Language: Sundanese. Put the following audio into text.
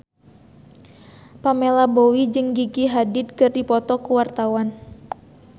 Pamela Bowie jeung Gigi Hadid keur dipoto ku wartawan